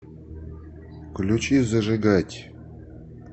включи зажигать